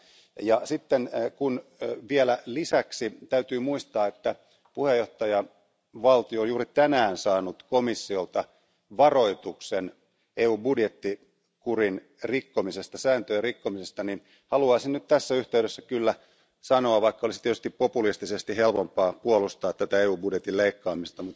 Ja kun vielä lisäksi täytyy muistaa, että puheenjohtajavaltio on juuri tänään saanut komissiolta varoituksen EUn budjettikurin rikkomisesta ja sääntöjen rikkomisesta, niin haluaisin nyt tässä yhteydessä kyllä sanoa vaikka olisi tietysti populistisesti helpompaa puolustaa tätä EU budjetin leikkaamista